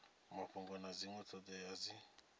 mafhungo na dzinwe thodea dzi